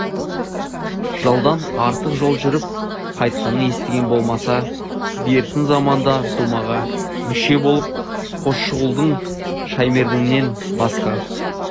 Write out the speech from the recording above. жылдан артық жол жүріп қайтқанын естігені болмаса бертін заманда думаға мүше болған қосшығұлдың шаймерденінен басқа